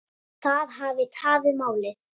Það hafi tafið málið.